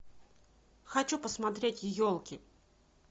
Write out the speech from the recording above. хочу посмотреть елки